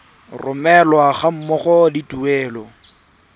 romelwa ga mmogo le tuelo